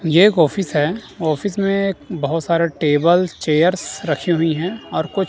ये एक ऑफिस है ऑफिस में बहोत सारे टेबल चेयर्स रखी हुई हैं और कु--